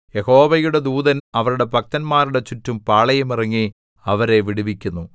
യഹോവയുടെ ദൂതൻ അവിടുത്തെ ഭക്തന്മാരുടെ ചുറ്റും പാളയമിറങ്ങി അവരെ വിടുവിക്കുന്നു